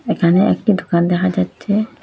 এখানে একটি দুকান দেখা যাচ্ছে।